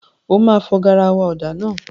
O máa fọ garawa ọ̀dà náà.